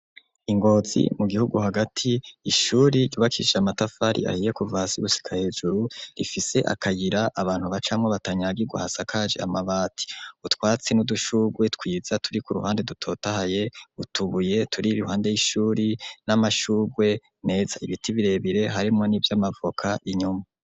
Ingozi mu gihugu hagati ishuri yubakishe amatafari ahiye kuvasi i gushika hejuru rifise akayira abantu bacamwo batanyagiwa hasakaje amabati utwatsi n'udushugwe twiza turi ku ruhande dutotahaye utubuye turi rihande y'ishuri n'amashurwe meza ibiti birebire harimo n'ivyo amavoka inyuma.